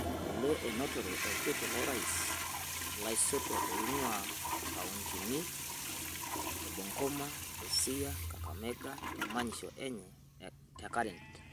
Ngole, Etutumore Olkiti lo rais laisotuak oingua nkauntini e Bungoma, Busia o Kakamega temanyisho enye te Karen.